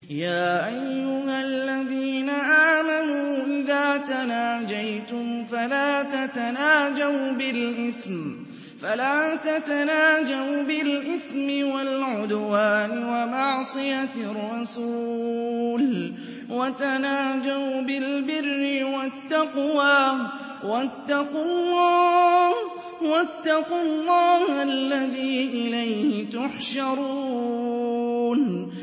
يَا أَيُّهَا الَّذِينَ آمَنُوا إِذَا تَنَاجَيْتُمْ فَلَا تَتَنَاجَوْا بِالْإِثْمِ وَالْعُدْوَانِ وَمَعْصِيَتِ الرَّسُولِ وَتَنَاجَوْا بِالْبِرِّ وَالتَّقْوَىٰ ۖ وَاتَّقُوا اللَّهَ الَّذِي إِلَيْهِ تُحْشَرُونَ